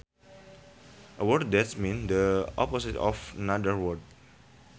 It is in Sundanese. A word that means the opposite of another word